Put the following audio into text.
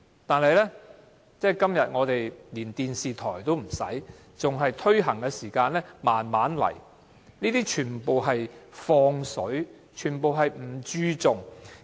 但是，今天我們連電視台都沒有提供手語翻譯，在推行的階段還是慢慢來，這些根本是"放水"，全不注重。